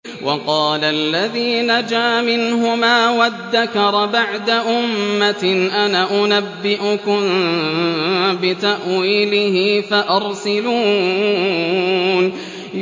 وَقَالَ الَّذِي نَجَا مِنْهُمَا وَادَّكَرَ بَعْدَ أُمَّةٍ أَنَا أُنَبِّئُكُم بِتَأْوِيلِهِ فَأَرْسِلُونِ